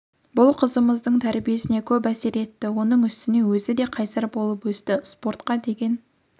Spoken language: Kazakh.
бұл қызымыздың тәрбиесіне көп әсер етті оның үстіне өзі де қайсар болып өсті спортқа деген